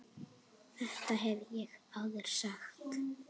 Þetta hef ég áður sagt.